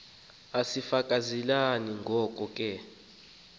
asifezekanga ngoko ke